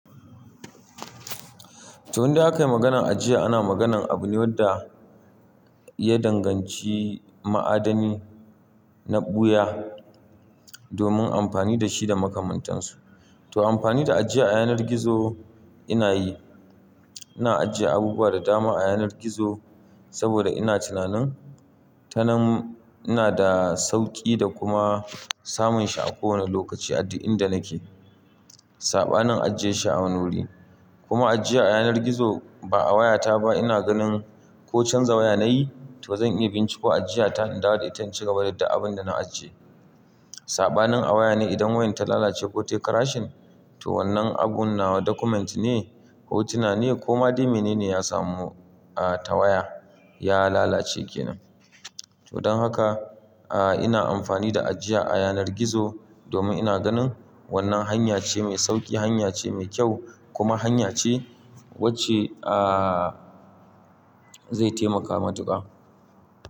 To indai aka yi maganar ajiya, ana maganar abune wanda ya danganci ma'adani na ɓuya domin amfani da shi da makamantansu. To amfani da ajiya a yanar gizo ina yi. Ina ajiye abubuwa da dama a yanar gizo saboda ina tunanin tanan ina da sauƙi da kuma samun shi a kowane lokaci adda inda nake. Saɓanin ajiye shi a wani wurin. Kuma ajiya a yanar gizo ba a wayata ba ina ganin ko canza waya nayi, to bazan iya binciko ajiya ta in dawo da ita in cigaba da abun da na ajiye. Saɓanin a waya ne idan wayan ta lalace ko tai karashin, to wannan abun nawa document ne ko tunani ne ko ma dai mene ne ya samu a ta waya ya lalace ke nan. To don haka, a ina amfani da ajiya a yanar gizo domin ina ganin wannan hanya ce mai sauƙi, hanya ce mai kyau kuma hanya ce wacce a zai taimaka matuƙa.